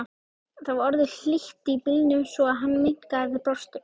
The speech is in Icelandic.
Það var orðið hlýtt í bílnum svo hann minnkaði blásturinn.